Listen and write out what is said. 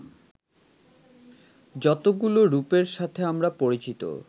যতগুলো রূপের সাথে আমরা পরিচিত